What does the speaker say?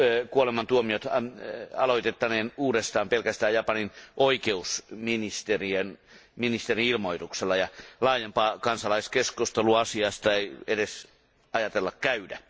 Kuolemantuomiot aloitettaneen uudestaan pelkästään Japanin oikeusministerin ilmoituksella ja laajempaa kansalaiskeskustelua asiasta ei edes ajatella käydä.